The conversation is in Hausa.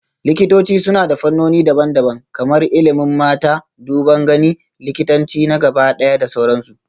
Likitoci suna da fannoni daban-daban kamar ilimin mata, duban gani, likitanci na gabaɗaya da sauransu